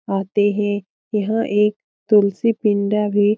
आते हैं यहाँ एक तुलसी पिंडा भी --